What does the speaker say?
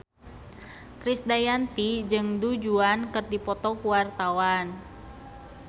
Krisdayanti jeung Du Juan keur dipoto ku wartawan